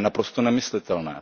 naprosto nemyslitelné.